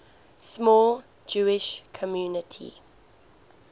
small jewish community